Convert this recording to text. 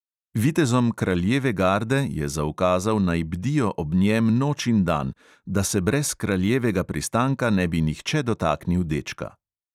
Vitezom kraljeve garde je zaukazal, naj bdijo ob njem noč in dan, da se brez kraljevega pristanka ne bi nihče dotaknil dečka.